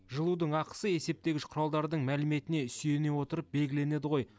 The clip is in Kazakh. жылудың ақысы есептегіш құралдардың мәліметіне сүйене отырып белгіленеді ғой